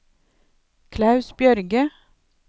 Klaus Bjørge